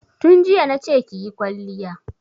Tun jiya na ce ki yi kwalliya!